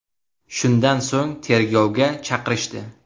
Shundan so‘ng tergovga chaqirishdi.